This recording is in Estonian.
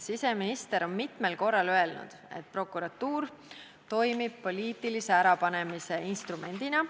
Siseminister on mitmel korral öelnud, et prokuratuur toimib poliitilise ärapanemise instrumendina.